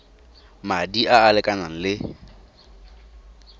madi a a lekanang le